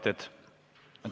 Teated.